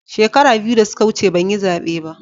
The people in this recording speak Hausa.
Shekaru biyu da suka wuce ban yi zabe ba.